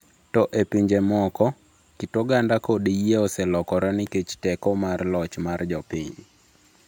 To e pinje moko, kit oganda kod yie oselokore nikech teko mar loch mar jopiny.